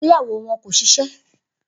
Igbeyawo wọn kò ṣiṣẹ